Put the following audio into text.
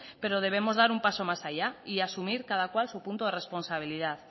pero debemos dar un paso más allá y asumir cada cual su punto de responsabilidad